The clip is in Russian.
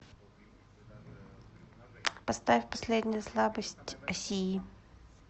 поставь последняя слабость асии